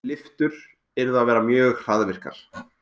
Lyftur yrðu að vera mjög hraðvirkar.